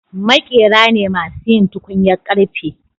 Maƙera ne masu yin tukunyar karfe